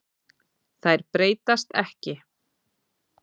Þær breytast ekki.